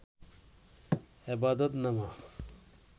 এবাদত নামা